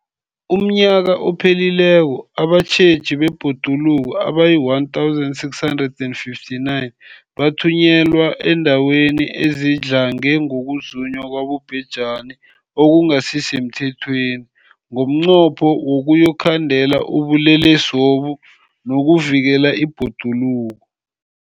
UmNnyaka ophelileko abatjheji bebhoduluko abayi-1 659 bathunyelwa eendaweni ezidlange ngokuzunywa kwabobhejani okungasi semthethweni ngomnqopho wokuyokukhandela ubulelesobu nokuvikela ibhoduluko.